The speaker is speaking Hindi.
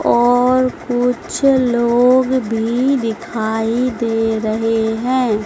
और कुछ लोग भी दिखाई दे रहे हैं।